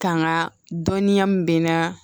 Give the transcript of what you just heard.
Kan ka dɔnniya min bɛ n na